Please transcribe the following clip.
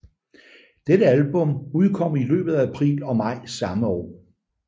Dette album udkom i løbet af april og maj samme år